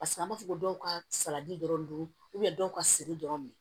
Paseke an b'a fɔ dɔw ka salati dɔrɔn don dɔw ka siri dɔrɔn